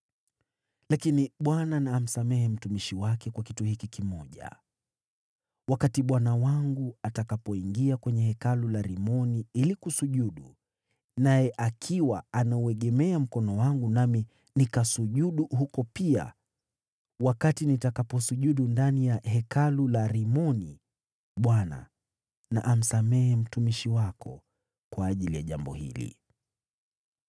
Lakini Bwana na amsamehe mtumishi wake kwa kitu hiki kimoja: Wakati bwana wangu atakapoingia kwenye hekalu la Rimoni ili kusujudu, naye akiwa anauegemea mkono wangu, nami nikasujudu huko pia, wakati nitakaposujudu ndani ya hekalu la Rimoni, Bwana na amsamehe mtumishi wako kwa ajili ya jambo hili.”